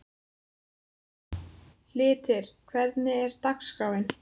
Hyltir, hvernig er dagskráin?